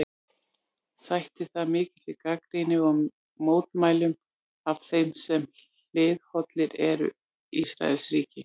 Sætti það mikilli gagnrýni og mótmælum af þeim sem hliðhollir eru Ísraelsríki.